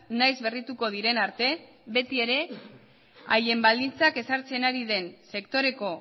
nahiz berrituko diren arte beti ere haien baldintzak ezartzen ari den sektoreko